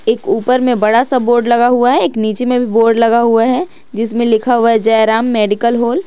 एक ऊपर में बड़ा सा बोर्ड लगा हुआ है एक नीचे में भी बोर्ड लगा हुआ है जिसमें लिखा हुआ है जय राम मेडिकल हॉल ।